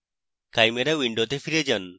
chimera window ফিরে যান